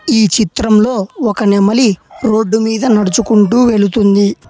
ఈ చిత్రంలో ఒక నెమలి రోడ్డు మీద నడుచుకుంటూ వెళుతుంది.